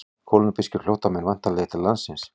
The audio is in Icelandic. Kólumbískir flóttamenn væntanlegir til landsins